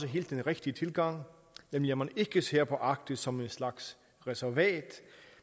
helt rigtige tilgang nemlig at man ikke ser på arktis som et slags reservat